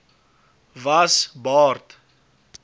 was b aard